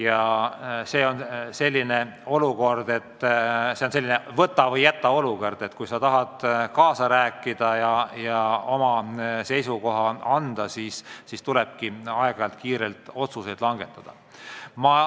Ja see on selline "võta või jäta" olukord: kui sa tahad kaasa rääkida ja oma seisukoha teada anda, siis tuleb aeg-ajalt kiirelt otsuseid langetada.